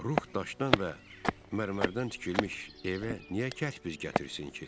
Ruh daşdan və mərmərdən tikilmiş evə niyə kərpic gətirsin ki?